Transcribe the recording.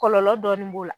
Kɔlɔlɔ dɔɔni b'o la